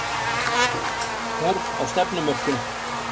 Þörf á stefnumörkun